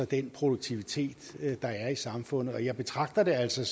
den produktivitet der er i samfundet og jeg betragter det altså